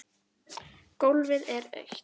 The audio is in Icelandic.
Gólfið er autt.